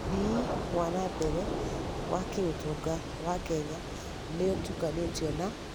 ũthii wa na mbere wa kĩũtonga wa Kenya nĩ ũtukanĩtio na